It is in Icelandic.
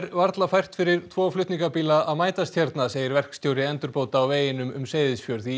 varla fært fyrir tvo flutningabíla að mætast hérna segir verkstjóri endurbóta á veginum um Seyðisfjörð í